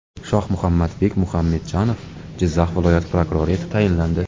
Shohmuhammadbek Muxamedjanov Jizzax viloyati prokurori etib tayinlandi.